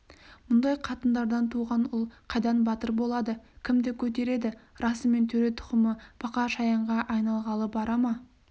мұндай қатындардан туған ұл қайдан батыр болады кімді көтереді расымен төре тұқымы бақа-шаянға айналғалы бара ма